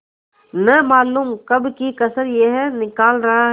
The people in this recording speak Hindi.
न मालूम कब की कसर यह निकाल रहा है